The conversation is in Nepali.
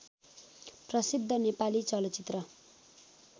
प्रसिद्ध नेपाली चलचित्र